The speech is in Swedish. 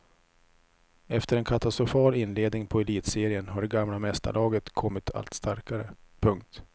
Efter en katastrofal inledning på elitserien har det gamla mästarlaget kommit allt starkare. punkt